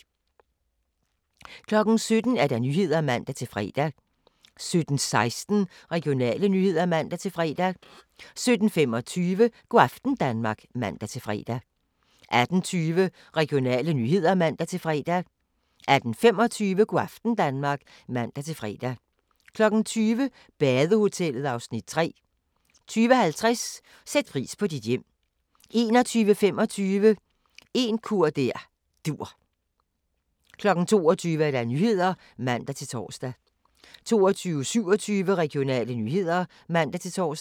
17:00: Nyhederne (man-fre) 17:16: Regionale nyheder (man-fre) 17:25: Go' aften Danmark (man-fre) 18:20: Regionale nyheder (man-fre) 18:25: Go' aften Danmark (man-fre) 20:00: Badehotellet (Afs. 3) 20:50: Sæt pris på dit hjem 21:25: En kur der dur 22:00: Nyhederne (man-tor) 22:27: Regionale nyheder (man-tor)